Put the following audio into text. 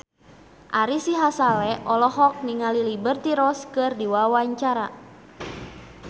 Ari Sihasale olohok ningali Liberty Ross keur diwawancara